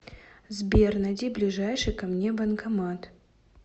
сбер найди ближайший ко мне банкомат